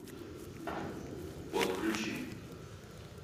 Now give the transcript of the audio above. подключи